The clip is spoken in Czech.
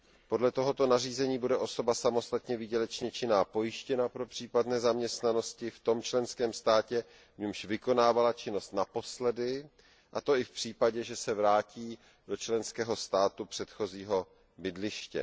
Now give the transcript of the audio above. Podle tohoto nařízení bude osoba samostatně výdělečně činná pojištěna pro případ nezaměstnanosti v tom členském státě, v němž vykonávala činnost naposledy, a to i v případě, že se vrátí do členského státu předchozího bydliště.